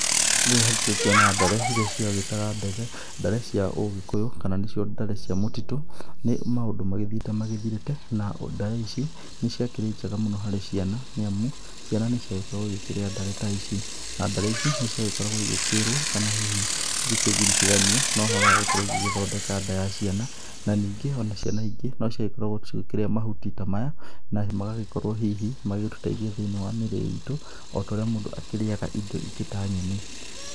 Rĩrĩa ngũgĩkĩona ndare iria ciagĩtagwo ndare cia ũgĩkũyũ kana nĩcio ndare cia mũtitũ. Nĩ maũndũ magĩthiĩte magĩthirĩte na ndare ici nĩ ciakĩrĩ njega mũno harĩ ciana nĩ amu, ciana nĩ ciagĩkoragwo igĩkĩrĩa ndare ta ici. Na ndare ici nĩ ciagĩkoragwo igĩkĩrwo kana hihi ikĩnyitithanio na ũhoro wa gũkorwo igĩthondeka nda ya ciana, na ningĩ ona ciana ingĩ no cia gĩkoragwo igĩkĩrĩa mahuti ta maya. Na magagĩkorwo hihi magagĩtũteithia thĩinĩ wa mĩrĩ itũ ota ũrĩa mũndũ akĩrĩaga indo ingĩ ta nyeni.